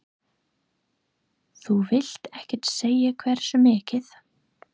Þú vilt ekkert segja hversu mikið?